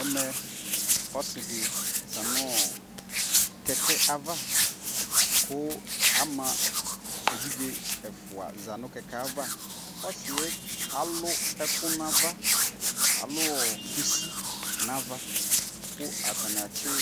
Ɛmɛ ɔsi di za nɔɔ kɛkɛ avaKu ama evidze fʋa za nu kɛkɛ avaƆsi yɛ alu ɛku na vaAluɔ kusi na va Ku ata ni atsi